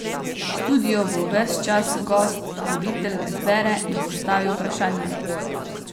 V studiu bo ves čas gost, voditelj ga izbere in sestavi vprašanja.